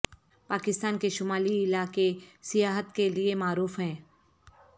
پاکستان کے شمالی علاقے سیاحت کے لیے معروف ہیں